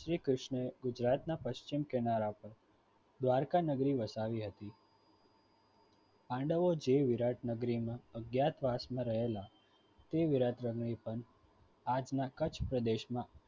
શ્રીકૃષ્ણ એ ગુજરાતના પશ્ચિમ કિનારા પર દ્વારકા નગરી વસાવી હતી પાંડવો જે વિરાટ નગરીમાં વાસ માં રહેલા તે વિરાટ આજના કચ્છ પ્રદેશમાં